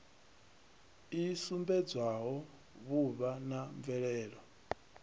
i sumbedzaho vhuvha na mvelelo